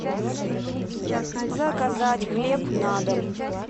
заказать хлеб на дом